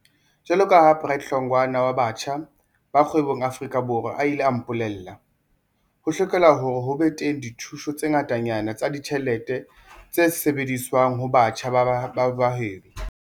Jwalo ka ha Bright Hlongwa ne wa Batjha ba Kgwebong Aforika Borwa a ile a mpole lla, ho hlokeha hore ho be teng dithuso tse ngatanyana tsa ditjhelete tse lebiswang ho batjha ba bahwebi.